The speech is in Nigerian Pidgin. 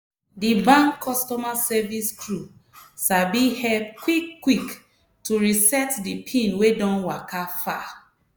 di bank customer service crew sabi help quick-quick to reset di pin wey don waka far!